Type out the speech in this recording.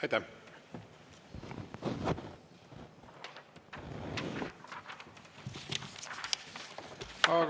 Aitäh!